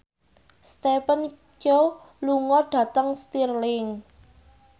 Stephen Chow lunga dhateng Stirling